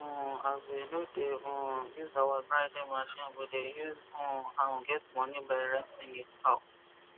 um as we no de um use our grinding machine we de use um am get moni by renting it out